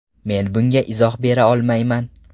Men bunga izoh bera olmayman.